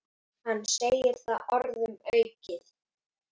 Hann segir það orðum aukið.